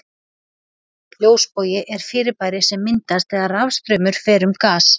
Ljósbogi er fyrirbæri sem myndast þegar rafstraumur fer um gas.